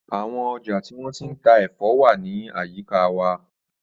Àwọn ọjà tí wọ́n ti ń ta ẹ̀fọ́ wà ní àyíká wa.